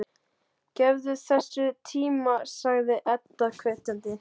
Gefðu þessu tíma, sagði Edda hvetjandi.